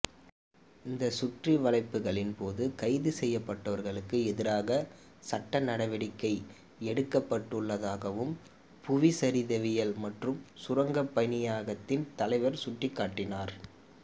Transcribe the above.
இந்த சுற்றிவளைப்புகளின் போது கைது செய்யப்பட்டவர்களுக்கு எதிராக சட்ட நடவடிக்கை எடுக்கப்பட்டுள்ளதாகவும் புவிச்சரிதவியல் மற்றும் சுரங்கப் பணியகத்தின் தலைவர் சுட்டிக்காட்டினார்